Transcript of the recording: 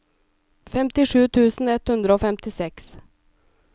femtisju tusen ett hundre og femtiseks